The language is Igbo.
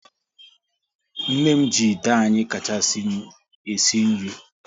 Nne m ji ite anyị kachasinu e si nri